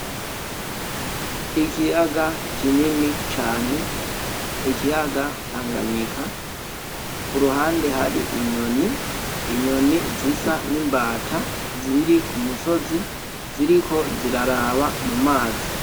Ikiyaga kinini cane, ikiyaga Tanganyika ku ruhande hari inyoni zisa n’imbata ziri ku musozi ziriko ziraraba mu mazi.